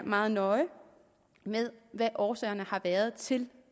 meget nøje hvad årsagerne har været til